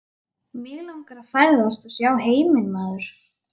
Mig langar að ferðast og sjá heiminn maður.